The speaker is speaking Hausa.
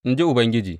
In ji Ubangiji.